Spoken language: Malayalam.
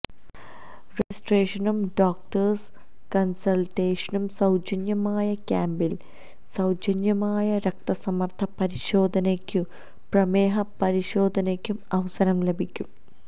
രജിസ്ട്രേഷനും ഡോക്ടേഴ്സ് കണ്സള്ട്ടേഷനും സൌജന്യമായ ക്യാമ്പില് സൌജന്യ രക്തസമ്മര്ദ്ദ പരിശോധനയ്ക്കും പ്രമേഹ പരിശോധനയ്ക്കും അവസരം ലഭിക്കും